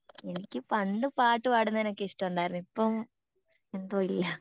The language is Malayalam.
എനിക്ക് പണ്ട് പാട്ട് പാടുന്നേ ഒക്കെ ഇഷ്ട്ടം ഉണ്ടാർന്നു ഇപ്പൊ